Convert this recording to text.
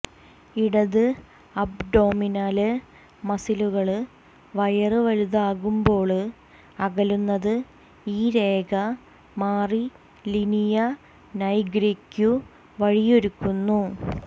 ഇടത് അബ്ഡൊമിനല് മസിലുകള് വയര് വലുതാകുമ്പോള് അകലുന്നത് ഈ രേഖ മാറി ലിനിയ നൈഗ്രയ്ക്കു വഴിയൊരുക്കുന്നു